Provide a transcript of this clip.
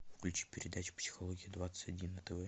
включи передачу психология двадцать один на тв